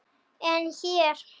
En hér?